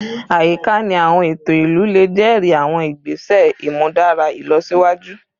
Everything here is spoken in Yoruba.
Ayika ni awọn eto ilu le jẹri awọn igbese imudara ilọsiwaju